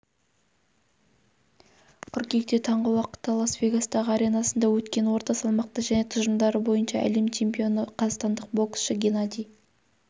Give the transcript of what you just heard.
қыркүйекте таңғы уақытта лас-вегастағы аренасында өткен орта салмақта және тұжырымдары бойынша әлем чемпионы қазақстандық боксшы геннадий